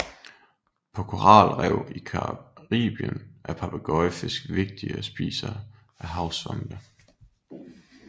På koralrev i Caribien er papegøjefisk vigtige spisere af havsvampe